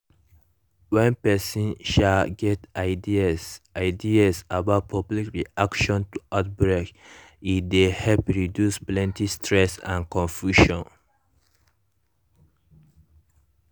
when person um get ideas ideas about public reaction to outbreak e dey help reduce plenty stress and confusion